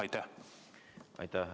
Aitäh!